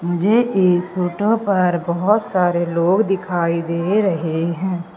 मुझे इस फोटो पर बहोत सारे लोग दिखाई दे रहे हैं।